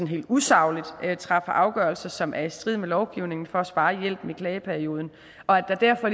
helt usagligt træffer afgørelser som er i strid med lovgivningen for at spare hjælpen i klageperioden og at der derfor